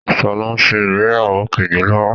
Sọlá ń ṣe ìgbéyàwó kejì lọ́wọ́